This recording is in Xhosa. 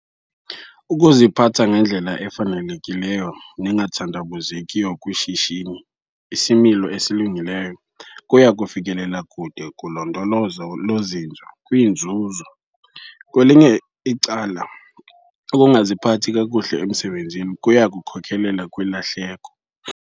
Ukuziphatha ngendlela efanelekileyo nengathandabuzekiyo kwishishini isimilo esilungileyo kuya kufikelela kude kulondolozo lozinzo kwiinzuzo. Kwelinye icala, ukungaziphathi kakuhle emsebenzini kuya kukhokelela kwilahleko.